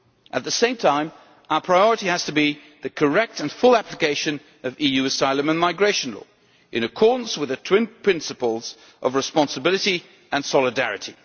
At the same time, our priority has to be the correct and full application of EU asylum and migration law, in accordance with the twin principles of responsibility and solidarity.